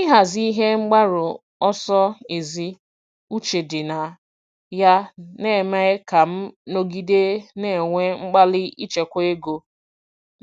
Ịhazi ihe mgbaru ọsọ ezi uche dị na ya na-eme ka m nọgide na-enwe mkpali ichekwa ego